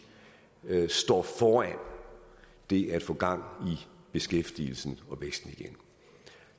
står over det at få gang i beskæftigelsen og væksten igen